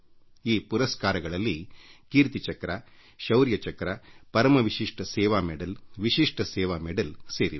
ಈ ಶೌರ್ಯ ಪುರಸ್ಕಾರಗಳಲ್ಲಿ ವಿವಿಧ ವರ್ಗಗಳಿದ್ದು ಅವುಗಳಲ್ಲಿ ಕೀರ್ತಿ ಚಕ್ರ ಶೌರ್ಯ ಚಕ್ರ ಪರಮ್ ವಿಶಿಷ್ಟ ಸೇವಾ ಪದಕ ವಿಶಿಷ್ಟ ಸೇವಾ ಪದಕಗಳೂ ಸೇರಿವೆ